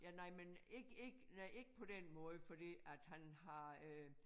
Ja nej men ikke ikke nej ikke på den måde fordi at han har øh